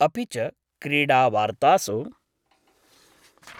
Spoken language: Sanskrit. अपि च, क्रीडावार्तासु